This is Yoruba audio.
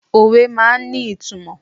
Òwe máa ń ní ìtumò.